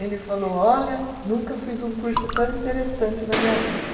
Ele falou, olha, nunca fiz um curso tão interessante na minha vida.